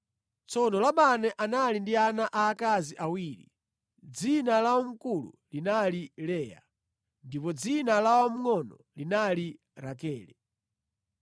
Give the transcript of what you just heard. Tsono Labani anali ndi ana aakazi awiri; dzina la wamkulu linali Leya, ndipo dzina la wamngʼono linali Rakele.